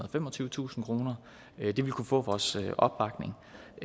og femogtyvetusind kroner det ville kunne få vores opbakning